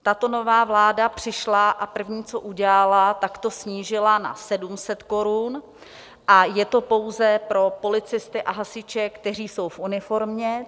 Tato nová vláda přišla a první, co udělala, tak to snížila na 700 korun, a je to pouze pro policisty a hasiče, kteří jsou v uniformě.